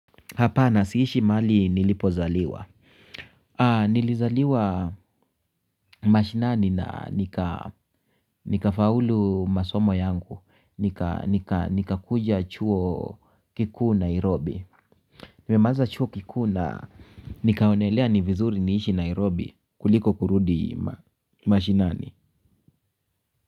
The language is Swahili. Hapana siishi mali nilipozaliwa. Nilizaliwa mashinani na nikafaulu masomo yangu. Nikakuja chuo kikuu Nairobi. Nimemaliza chuo kikuu la nikaonelea ni vizuri niishi Nairobi kuliko kurudi mashinani.